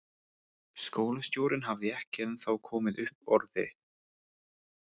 Skólastjórinn hafði ekki ennþá komið upp orði.